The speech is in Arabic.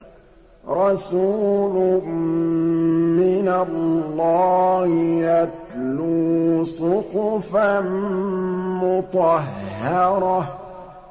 رَسُولٌ مِّنَ اللَّهِ يَتْلُو صُحُفًا مُّطَهَّرَةً